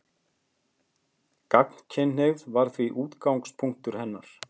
Gagnkynhneigð var því útgangspunktur hennar.